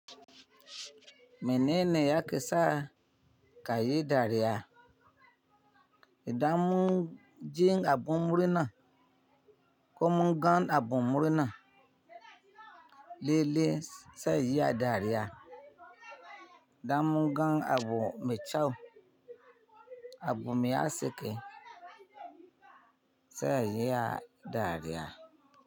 Menene yake sa ka yi dariya? Idan mun ji abun murna ko mun ga abun murna, lalle zan iya dariya. Idan mun ga abu mai kyau, abu mai haske, zan iya dariya.